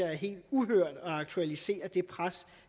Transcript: er helt uhørt og det aktualiserer det pres